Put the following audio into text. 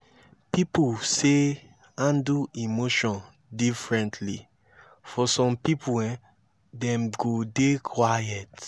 pipo sey handle emotion diferently for some pipo dem go dey quiet